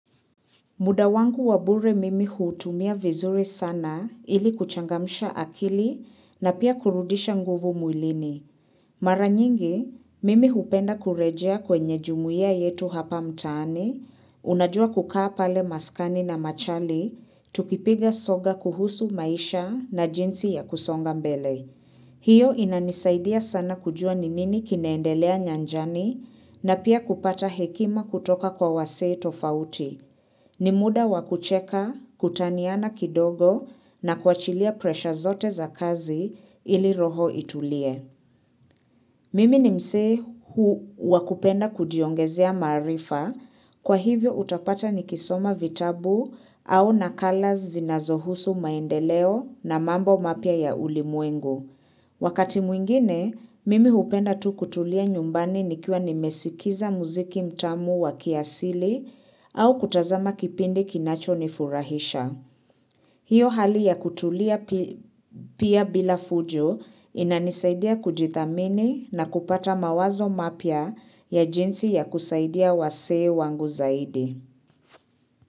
Muda wangu wa bure mimi huutumia vizuri sana ili kuchangamsha akili na pia kurudisha nguvu mwilini. Mara nyingi, mimi hupenda kurejea kwenye jumuia yetu hapa mtaani, unajua kukaa pale maskani na machali, tukipiga soga kuhusu maisha na jinsi ya kusonga mbele. Hiyo inanisaidia sana kujua ni nini kinaendelea nyanjani na pia kupata hekima kutoka kwa wasee tofauti. Ni muda wa kucheka, kutaniana kidogo na kuwachilia presha zote za kazi ili roho itulie. Mimi ni msee wakupenda kujiongezea maarifa, kwa hivyo utapata nikisoma vitabu au nakala zinazohusu maendeleo na mambo mapya ya ulimwengu. Wakati mwingine, mimi hupenda tu kutulia nyumbani nikiwa nimesikiza muziki mtamu wa kiasili au kutazama kipindi kinacho nifurahisha. Hiyo hali ya kutulia pia bila fujo inanisaidia kujithamini na kupata mawazo mapya ya jinsi ya kusaidia wasee wangu zaidi.